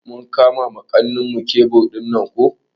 Mun kama wa kanmu tebur dinnan ko.